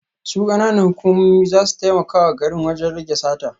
Su kananan hukumomi za su taimaka wa garin wajen rage sata